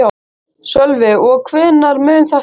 Sölvi: Og hvenær mun þetta liggja fyrir?